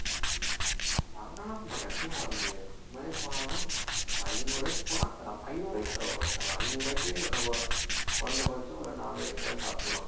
ஆமா ஆமா கண்டிப்பா சாப்பிட முடியாது நம்மளே போனாலும் ஐநூறு ரூபாய்க்கு போனா ஐநூறு ரூபாய்க்கு பரவாயில்லை worth ஆனா ஐநூறு ரூபாய்க்கே நம்ம குறைந்தபட்சம் ஒரு நானூறு ரூபாய்க்காவது சாப்பிடலாம்